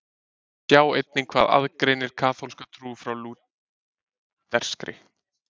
Sjá einnig Hvað aðgreinir kaþólska trú frá lúterskri?